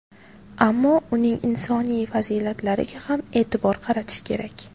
Ammo uning insoniy fazilatlariga ham e’tibor qaratish kerak.